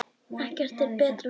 Ekkert er betra fyrir þær.